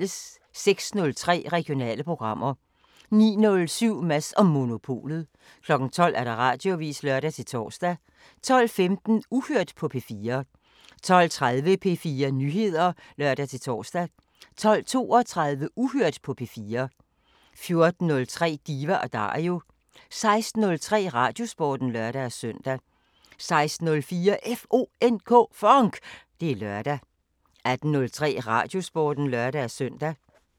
06:03: Regionale programmer 09:07: Mads & Monopolet 12:00: Radioavisen (lør-tor) 12:15: Uhørt på P4 12:30: P4 Nyheder (lør-tor) 12:32: Uhørt på P4 14:03: Diva & Dario 16:03: Radiosporten (lør-søn) 16:04: FONK! Det er lørdag 18:03: Radiosporten (lør-søn)